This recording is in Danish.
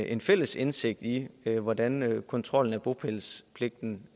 en fælles indsigt i hvordan kontrollen af bopælspligten